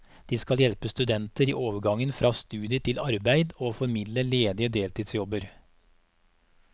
De skal hjelpe studenter i overgangen fra studier til arbeid og formidler ledige deltidsjobber.